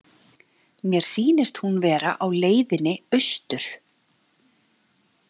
Mér sýnist hún vera á leiðinni austur.